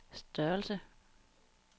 størrelse